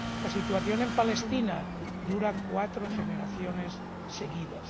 La situación en Palestina dura cuatro generaciones seguidas.